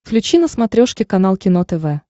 включи на смотрешке канал кино тв